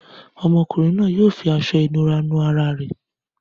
Ọmọkùnrin náà yóò fi aṣọ-ìnura nu ara rẹ̀.